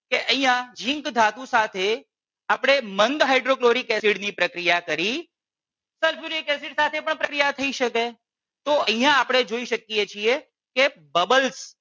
કે અહિયાં ઝીંક ધાતુ સાથે આપણે મંદ હાઇડ્રોક્લોરિક એસિડ ની પ્રક્રિયા કરી sulfuric acid સાથે પણ પ્રક્રિયા થઈ શકે તો અહિયાં આપણે જોઈ શકીએ છીએ કે bubbles